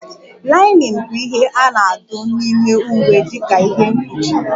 Linen bụ ihe a na-adụ n'ime iwe dika ihe mkpuchi